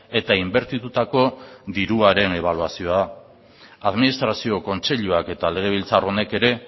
eta inbertitutako diruaren ebaluazioa administrazio kontseiluak eta legebiltzar honek ere